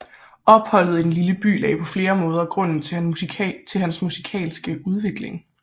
Opholdet i den lille by lagde på flere måder grunden til hans musikalske udvikling